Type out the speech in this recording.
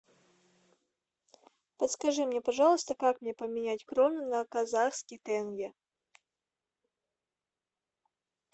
подскажи мне пожалуйста как мне поменять кроны на казахские тенге